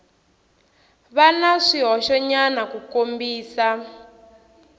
va na swihoxonyana ku kombisa